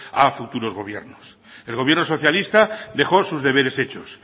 a futuros gobiernos el gobierno socialista dejó sus deberes hechos